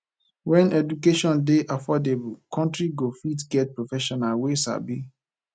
when education dey affordable country go fit get professionals wey sabi